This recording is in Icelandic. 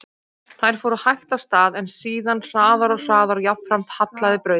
Þær fóru hægt af stað, en síðan hraðar og hraðar og jafnframt hallaði brautin.